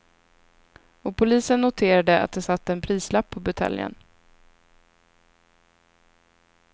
Och polisen noterade att det satt en prislapp på buteljen.